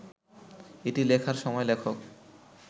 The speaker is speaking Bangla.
এটি লেখার সময় লেখক